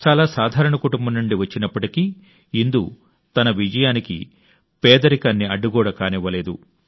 చాలా సాధారణ కుటుంబం నుండి వచ్చినప్పటికీ ఇందు తన విజయానికి పేదరికాన్ని అడ్డు గోడ కానివ్వలేదు